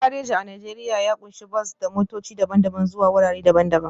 Gidan gareji a Najeriya ya ƙunshi bas ko motoci daban-daban zuwa wurare daban-daban